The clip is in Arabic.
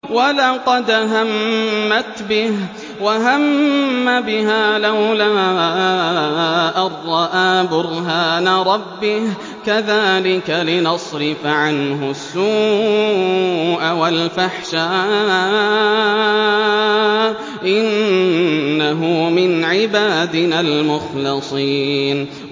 وَلَقَدْ هَمَّتْ بِهِ ۖ وَهَمَّ بِهَا لَوْلَا أَن رَّأَىٰ بُرْهَانَ رَبِّهِ ۚ كَذَٰلِكَ لِنَصْرِفَ عَنْهُ السُّوءَ وَالْفَحْشَاءَ ۚ إِنَّهُ مِنْ عِبَادِنَا الْمُخْلَصِينَ